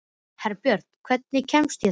Herbjört, hvernig kemst ég þangað?